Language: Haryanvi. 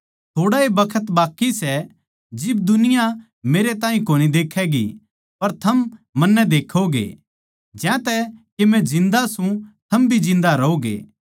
थोड़ा ए बखत बाकी सै जिब दुनिया मेरै ताहीं कोनी देक्खैगी पर थम मन्नै देक्खोगे ज्यांतै के मै जिन्दा सूं थम भी जिन्दा रहोगे